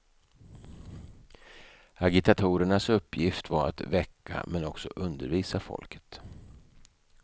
Agitatorernas uppgift var att väcka men också undervisa folket.